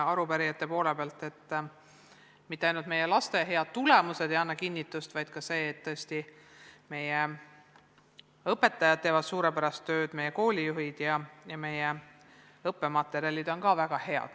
Sellele ei anna kinnitust mitte ainult meie laste head tulemused, vaid tõesti ka see teadmine, et meie õpetajad teevad suurepärast tööd ning meie koolijuhid ja meie õppematerjalid on samuti väga head.